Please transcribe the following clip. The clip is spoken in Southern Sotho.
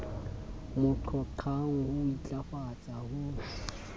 mo qhoqhang ho intlafatsa ho